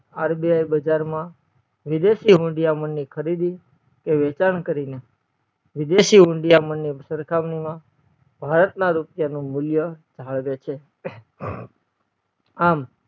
RBI બજાર મા વિદેશી હુંડીયામણ ની ખરીદી કે વેચાણ કરી ને વિદેશી હુંડીયામણ ની સરખામણી માં ભારત ના રૂપિયા નું મુલ્ય જાળવે છે આમ